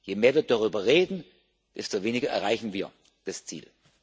Je mehr wir darüber reden, desto weniger erreichen wir das Ziel.